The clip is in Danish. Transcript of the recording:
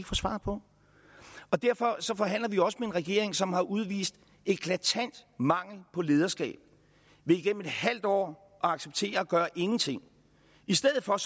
få svar på derfor forhandler vi også med en regering som har udvist en eklatant mangel på lederskab ved igennem et halvt år at acceptere at gøre ingenting i stedet for at